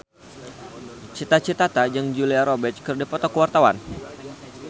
Cita Citata jeung Julia Robert keur dipoto ku wartawan